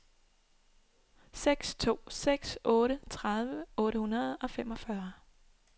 seks to seks otte tredive otte hundrede og femogfyrre